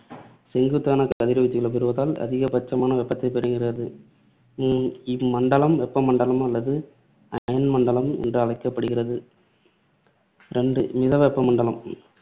செங்குத்தான கதிர்வீச்சுகளைப் பெறுவதால் அதிகபட்சமான வெப்பத்தைப் பெறுகிறது. உம் இம்மண்டலம் வெப்பமண்டலம் அல்லது அயனமண்டலம் என்றும் அழைக்கப்படுகிறது. ரெண்டு மித வெப்ப மண்டலம்